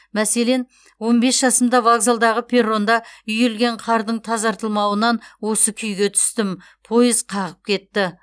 мәселен он бес жасымда вокзалдағы перронда үйілген қардың тазартылмауынан осы күйге түстім пойыз қағып кетті